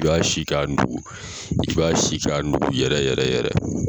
I b'a si k'a nugu i b'a si k'a nugu yɛrɛ yɛrɛ yɛrɛ